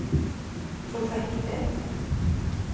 projektet